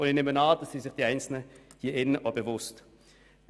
Ich nehme an, dass sich die Einzelnen im Saal dessen auch bewusst sind.